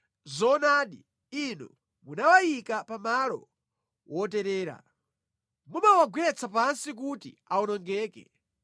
Zoonadi Inu munawayika pa malo woterera; Mumawagwetsa pansi kuti awonongeke.